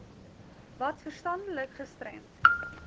wat verstandelik gestremd